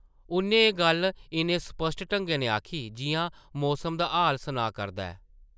उʼन्नै एह् गल्ल इन्ने स्पाट ढंगै नै आखी जिʼयां मौसम दा हाल सनाऽ करदा होऐ ।